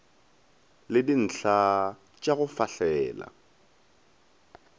le dintlha tpa go fahlela